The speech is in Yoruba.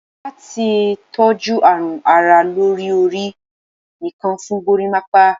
Lati toju arun ara lori ori, nìkan fun gorimapa